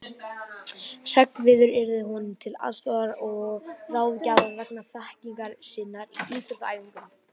Hreggviður yrði honum til aðstoðar og ráðgjafar vegna þekkingar sinnar á íþróttaæfingum.